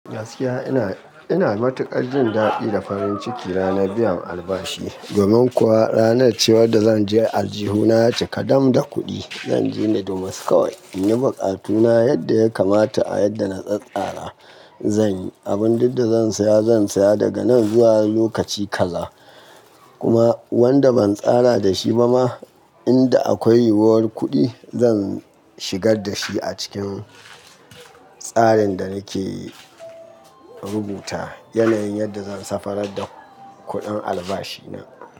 Gaskiya ina, ina matuƙar jin daɗi da farin ciki ranar biyan albashi. Domin kuwa ranar cewar da zan ji aljihuna ya cika dam da kuɗi. Zan ji rudumus kawai, inyi buƙatuna yadda ya kamata a yadda na tsattsara zan yi. Abin duk da zan saya, zan saya daga nan zuwa lokaci kaza. Kuma wanda ban tsara da shi ba ma, inda akwai yiwuwar kuɗi, zan shigar da shi a cikin tsarin da nake rubuta. Yanayin yadda zan safarar da kuɗin albashi na.